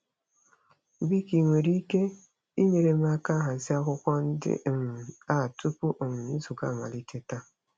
Biko i nwere ike inyere m aka hazie akwụkwọ ndị um a tupu um nzukọ amalite taa?